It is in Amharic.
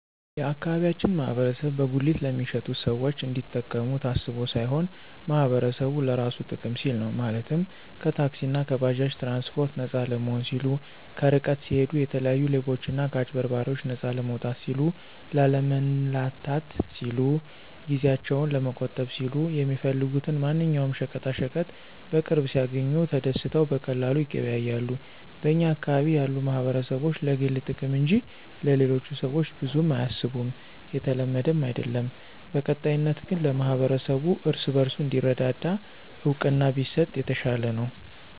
የአካባቢያችን ማህበረሰብ በጉሊት ለሚሸጡት ሰዎች እንዲጠቀሙ ታስቦ ሳይሆን ማህበረሰቡ ለራሱ ጥቅም ሲል ነው፤ ማለትም ከታክሲእና ከባጃጅ ትራንስፓርት ነፃ ለመሆን ሲሉ፣ ከርቀት ሲሂዱ የተለያዩ ሌቦችና ከአጭበርባሪዎች ነፃ ለመውጣት ሲሉ፣ ላለመንላታት ሲሉ፣ ጊዜአቸውን ለመቆጠብ ሲሉ፣ የሚፈልጉትን ማንኛውም ሸቀጣሸቀጥ በቅርብ ሲያግኙ ተደስተው በቀላሉ ይገበያያሉ። በኛ አካባቢ ያሉ ማህበረሰቦች ለግል ጥቅም እንጅ ለሌሎቹ ሰዎች ብዙም አያስቡም የተለመደም አይድለም። በቀጣይነት ግን ለማህበረሰቡ እርስ በርሱ እንዲረዳዳ እውቅና ቢሰጥ የተሻለ ነው።